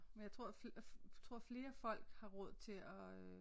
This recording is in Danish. Men jeg tror tror flere folk har råd til at øh